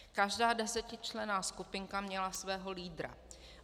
Každá desetičlenná skupinka měla svého lídra.